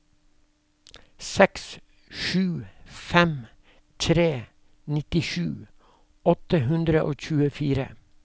seks sju fem tre nittisju åtte hundre og tjuefire